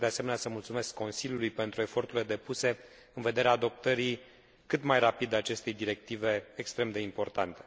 Doresc, de asemenea, să mulțumesc Consiliului pentru eforturile depuse în vederea adoptării cât mai rapide a acestei directive extrem de importante.